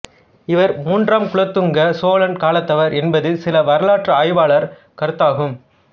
இவர் மூன்றாம் குலோத்துங்க சோழன் காலத்தவர் என்பது சில வரலாற்று ஆய்வாளர் கருத்தாகும்